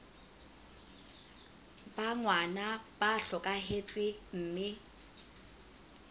ba ngwana ba hlokahetse mme